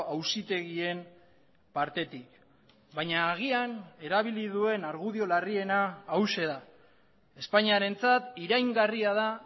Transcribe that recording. auzitegien partetik baina agian erabili duen argudio larriena hauxe da espainiarentzat iraingarria da